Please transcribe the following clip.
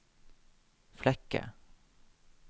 Flekke